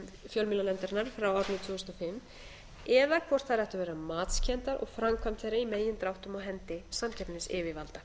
fjölmiðlanefndarinnar frá árinu tvö þúsund og fimm eða hvort þær ættu að vera matskenndar og framkvæmd þeirra í megindráttum á hendi samkeppnisyfirvalda